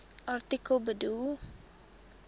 artikel bedoel